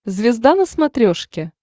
звезда на смотрешке